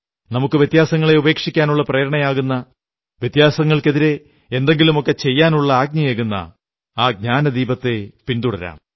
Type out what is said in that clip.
നമുക്കു വ്യത്യാസങ്ങളെ ഉപേക്ഷിക്കാനുള്ള പ്രേരണയേകുന്ന വ്യത്യാസങ്ങൾക്കെതിരെ എന്തെങ്കിലുമൊക്കെ ചെയ്യാനുള്ള ആജ്ഞയേകുന്ന ആ ജ്ഞാനദീപത്തെ പിന്തുടരാം